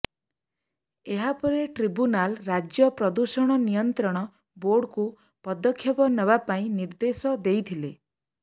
ଏହାପରେ ଟ୍ରିବ୍ୟୁନାଲ୍ ରାଜ୍ୟ ପ୍ରଦୂଷଣ ନିୟନ୍ତ୍ରଣ ବୋର୍ଡକୁ ପଦକ୍ଷେପ ନେବାପାଇଁ ନିର୍ଦ୍ଦେଶ ଦେଇଥିଲେ